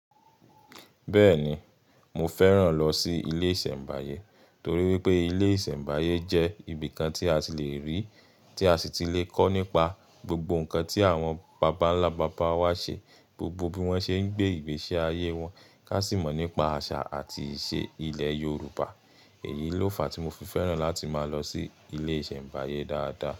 Bẹ́ẹ̀ni, mo fẹ́ràn lọ sí ilé ìsẹ̀mbáyé torí wípé ilé ìsẹ̀mbáyé jẹ́ ibi kan tí a ti le rí, tí a sì ti le kọ́ nípa gbogbo nǹkan tí àwọn bàbá ńlá bàbá wa ṣe, gbogbo bí wọ́n ṣe ń gbé ìgbésí ayé wọn, ká sì mọ̀ nípa àṣà àti ìṣe ilẹ̀ Yorùbá. Èyí ló fà á tí mo fi fẹ́ràn láti máa lọ sí ilé ìsẹ̀mbáyé dáadáa.